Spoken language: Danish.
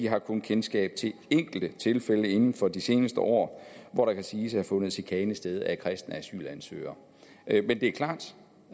har kun kendskab til enkelte tilfælde inden for de seneste år hvor der kan siges at have fundet chikane sted af kristne asylansøgere men det er klart